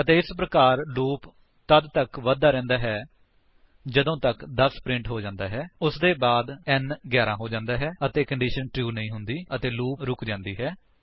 ਅਤੇ ਇਸ ਪ੍ਰਕਾਰ ਲੂਪ ਤੱਦ ਤੱਕ ਵਧਦਾ ਰਹਿੰਦਾ ਹੈ ਜਦੋਂ ਤੱਕ 10 ਪ੍ਰਿੰਟ ਹੋ ਜਾਂਦਾ ਹੈ ਉਸਦੇ ਬਾਅਦ n 11 ਹੋ ਜਾਂਦਾ ਹੈ ਅਤੇ ਕੰਡੀਸ਼ਨ ਟਰੂ ਨਹੀਂ ਹੁੰਦੀ ਅਤੇ ਲੂਪ ਰੁਕ ਜਾਂਦਾ ਹੈ